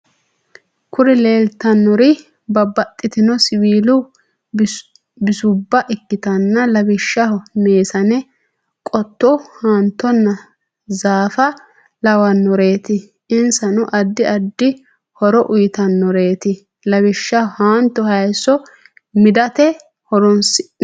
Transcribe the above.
Kuri lelitanori babatitino siwilu bisuba ikitana lawishshaho; mesane, qoto, hanitonna zafa lawanoreti Insano adid adid horo uyitanoreti lawishshho hanto hayiso midate horonisinemo